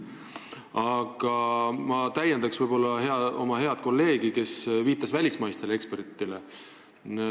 Aga ma täiendan oma head kolleegi, kes viitas välismaistele ekspertidele.